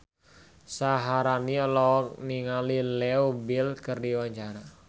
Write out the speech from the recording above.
Syaharani olohok ningali Leo Bill keur diwawancara